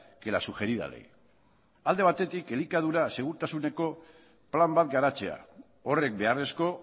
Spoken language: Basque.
que la sugerida ley alde batekin elikadura segurtasuneko plan bat garatzea horrek beharrezko